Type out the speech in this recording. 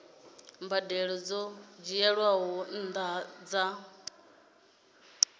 mbadelo dzo dzhielwaho nṱha dza